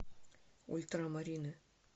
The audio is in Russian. ультрамарины